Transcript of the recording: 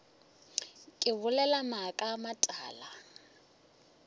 ke bolela maaka a matala